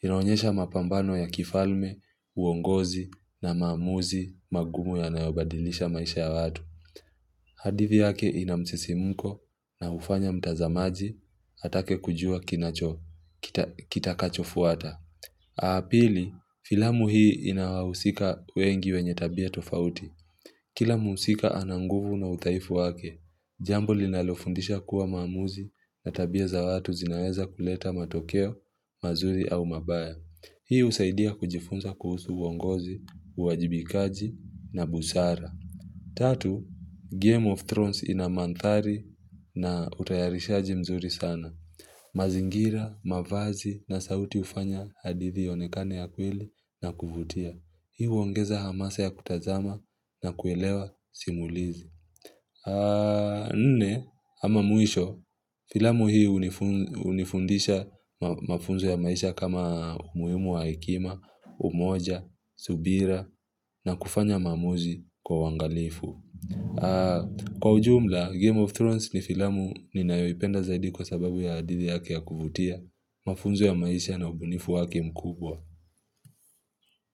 inaonyesha mapambano ya kifalme, uongozi na maamuzi magumu yanayobadilisha maisha ya watu hadithi yake ina msisimuko na hufanya mtazamaji atake kujua kinacho kitakachofuata. Pili, filamu hii ina wahusika wengi wenye tabia tofauti. Kila mhusika ana nguvu na udhaifu wake, jambo linalofundisha kuwa maamuzi na tabia za watu zinaweza kuleta matokeo, mazuri au mabaya. Hii husaidia kujifunza kuhusu uongozi, uwajibikaji na busara. Tatu, Game of Thrones ina mandhari na utayarishaji mzuri sana. Mazingira, mavazi na sauti hufanya hadithi ionekane ya kweli na kuvutia. Hii huongeza hamasa ya kutazama na kuelewa simulizi. Nne, ama mwisho, filamu hii hunifundisha mafunzo ya maisha kama umuhimu wa hekima, umoja, subira na kufanya maamuzi kwa uangalifu. Kwa ujumla, Game of Thrones ni filamu ninayoipenda zaidi kwa sababu ya hadithi yake ya kuvutia, mafunzo ya maisha na ubunifu wake mkubwa.